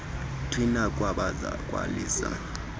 tswina khwaza khalisa